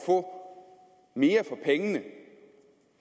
få mere for pengene